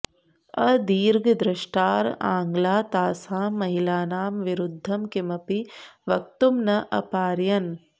अदीर्घद्रष्टारः आङ्ग्लाः तासां महिलानां विरुद्धं किमपि वक्तुं न अपारयन्